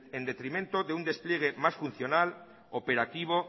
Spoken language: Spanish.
en detrimento de un despliegue más funcional operativo